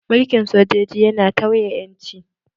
Mulkin sojoji yana tauye ƴanci